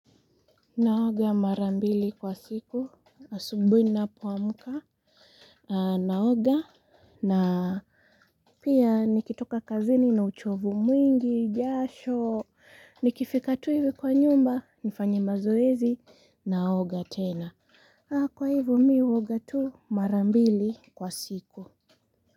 Naoga mara mbili kwa siku, asubuhi ninapoamka. Naoga na pia nikitoka kazini na uchovu mwingi, jasho. Nikifika tu hivi kwa nyumba, nifanye mazoezi, naoga tena. Kwa hivo mi, huoga tu mara mbili kwa siku.